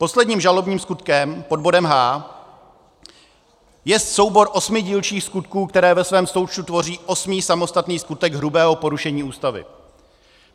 Posledním žalobním skutkem - pod bodem H - je soubor osmi dílčích skutků, které ve svém součtu tvoří osmý samostatný skutek hrubého porušení Ústavy.